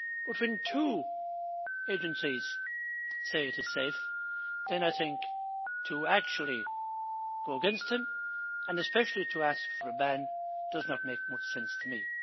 But when two agencies say it is safe, then I think to actually go against them, and especially to ask for a ban, does not make much sense to me.